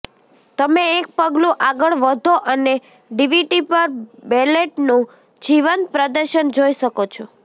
તમે એક પગલું આગળ વધો અને ડીવીડી પર બેલેટનું જીવંત પ્રદર્શન જોઈ શકો છો